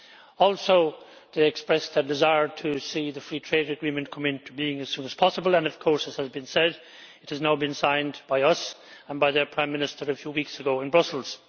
They also expressed a desire to see the Free Trade Agreement come into being as soon as possible and, as has been said, it has now been signed by us and by their Prime Minister a few weeks ago in Brussels.